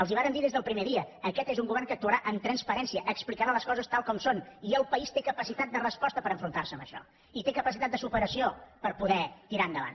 els ho vàrem dir des del primer dia aquest és un govern que actuarà amb transparència explicarà les coses tal com són i el país té capacitat de resposta per enfrontar se a això i té capacitat de superació per poder tirar endavant